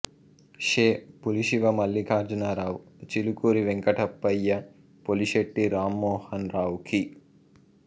శే Pulishiva Mallikarjunarao Chilukuri Venkatappayya Polisetti Rammohan Rao key